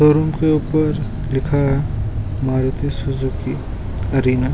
Showroom के ऊपर लिखा है मारुती सुजूकी एरीना ।